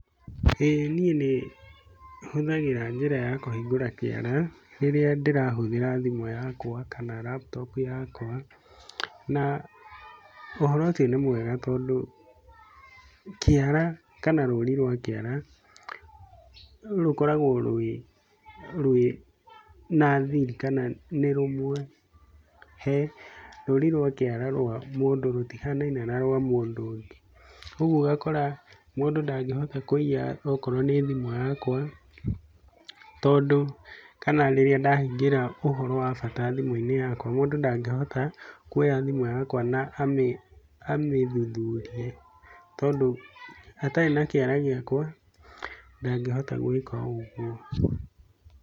ĩĩ niĩ nĩ hũthagĩra njĩra ya kũhingũra kiara rĩrĩa ndĩrahũthĩra thimũ yakwa kana laptop yakwa na ũhoro ũcio nĩ mwega tondũ, kĩara kana rũri rwa kĩara, rũkoragwo rwĩ na thiri kana nĩ rũmwe he, rũri rwa kĩara rwa mũndũ rũtihanaine na rwa mũndũ ũngĩ. Ũguo ũgakora mũndũ ndangĩhota kũiya okorwo nĩ thimũ yakwa, tondũ kana rĩrĩa ndahingĩra ũhoro wa bata thimũ-ini yakwa mũndũ ndangĩhota kuoya thimũ yakwa na amĩthuthurie, tondũ atari na kĩara gĩakwa ndangĩhota gwĩka ũguo.